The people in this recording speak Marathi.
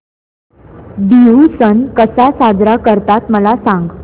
बिहू सण कसा साजरा करतात मला सांग